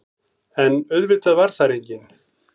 En auðvitað var þar enginn.